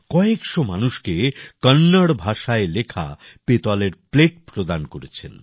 কয়েকশো মানুষকে কন্নড় ভাষায় লেখা পেতলের প্লেট প্রদান করেছেন